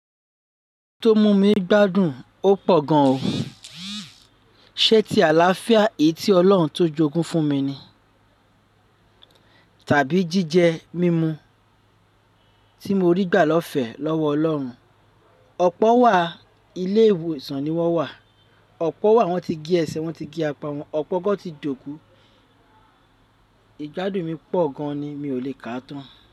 Tó mú mi gbádùn ó pọ̀ gan o. Sé ti àlàáfíà èyí tí Ọlọ́run tó jogún fún mi ni? Tàbí jíjẹ mímú tí mo rí gbà lọ́fẹ̀ẹ́ lọ́wọ́ Ọlọ́run. Ọ̀pọ̀ wà, ilé ìwòsàn ni wọ́n wà. Ọ̀pọ̀ wà, wọ́n ti gé ẹsẹ̀, wọ́n ti gé apá wọn. Ọ̀pọ̀ gán ti jókòó. Ìgbádùn mi pọ̀ gan ni, mi ò lè kà á tán.